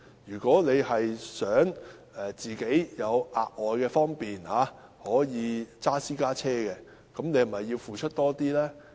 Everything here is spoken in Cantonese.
如果市民想有額外的方便而駕駛私家車，他們是否應該付出多一點？